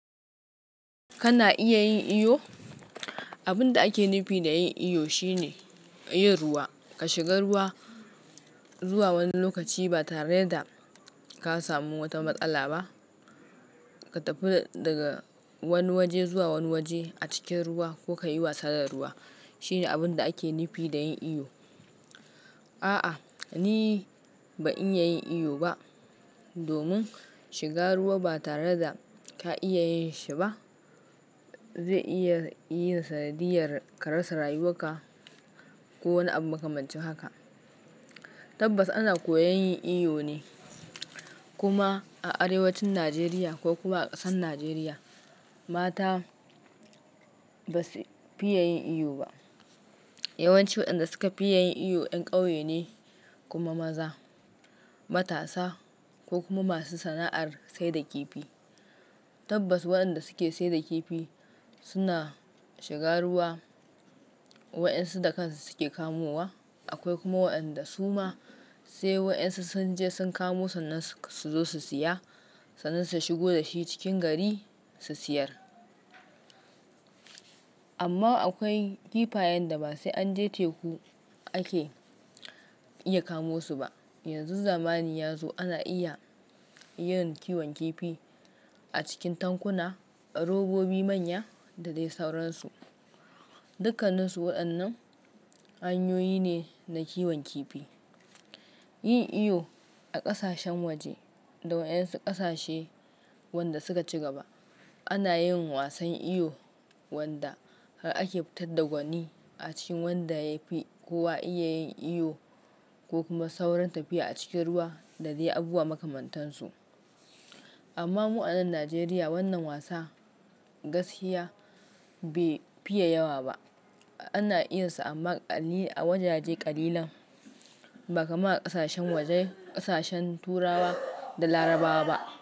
Kana iya yin iyo? Abin da ake nufi da yin iyo shine yin ruwa. Ka shiga ruwa zuwa wani lokaci ba tare da ka samu wata matsala ba. Ka tafi daga wani waje zuwa wani waje a cikin ruwa ko ka yi wasa da ruwa. Shine abin da ake nufi da yin iyo. A'a, ni ba iya yin iyo ba. Domin shiga ruwa ba tare da ka iya yin shi ba zai iya yin sanadiyar karasa rayuwarka ko wani abu makamancin haka. Tabbas ana koyan yin iyo ne kuma a arewacin Najeriya ko kuma a ƙasar Najeriya mata ba su fiya yin iyo ba. Yawancin waɗanda suka fiya yin iyo 'yan ƙauye ne kuma maza, matasa ko kuma masu sana'ar saida kifi. Tabbas, waɗanda suke saida kifi suna shiga ruwa waɗansu da kansu suke kamowa. Akwai kuma waɗanda su ma sai waɗansu sun je sun kamo sannan su zo su saya sannan su shigo da shi cikin gari su sayar. Amma akwai kifayen da ba sai an je teku ake iya kamosu ba. Yanzu zamani ya zo ana iya yin kiwon kifi a cikin tankuna, a robobi manya da dai sauransu. Dukanninsu waɗannan hanyoyi ne na kiwon kifi. Yin iyo a ƙasashen waje da waɗansu ƙasashe wanda suka ci gaba ana yin wasan iyo wanda har ake fitar da gwani a cikin wanda yafi kowa iya yin iyo ko kuma sauran tafiya a cikin ruwa da dai abubuwa makamantan su. Amma mu a nan Najeriya wannan wasa gaskiya bai fiye yawa ba. Ana iya su amma a wajaje kalilan ba kaman ƙasashen waje, ƙasashen Turawa da Larabawa ba.